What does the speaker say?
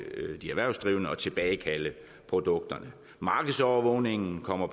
de erhvervsdrivende at tilbagekalde produkterne markedsovervågningen kommer